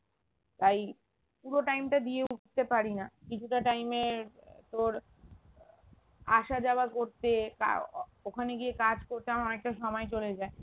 তাই পুরো time টা দিয়ে উঠতে পারি না কিছুটা time এ আহ তোর আসা যাওয়া করতে ওখানে গিয়ে কাজ করতে আমার অনেকটা সময় চলে যায়